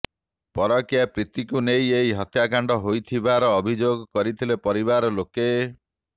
ପରକୀୟା ପ୍ରୀତିକୁ ନେଇ ଏହି ହତ୍ୟାକାଣ୍ଡ ହୋଇଥିବାର ଅଭିଯୋଗ କରିଥିଲେ ପରିବାର ଲୋକେ